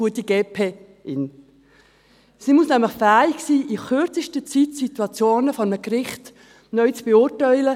Sie muss nämlich fähig sein, in kürzester Zeit Situationen vor einem Gericht neu zu beurteilen.